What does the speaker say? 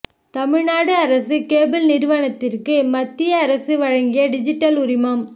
தமிழ்நாடு அரசு கேபிள் நிறுவனத்திற்கு மத்திய அரசு வழங்கிய டிஜிடல் உரிமம்